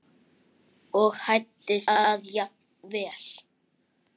og hæddist að jafnvel